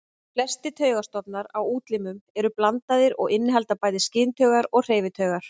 Flestir taugastofnar á útlimum eru blandaðir og innihalda bæði skyntaugar og hreyfitaugar.